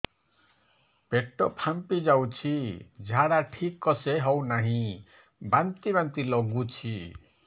ପେଟ ଫାମ୍ପି ଯାଉଛି ଝାଡା ଠିକ ସେ ହଉନାହିଁ ବାନ୍ତି ବାନ୍ତି ଲଗୁଛି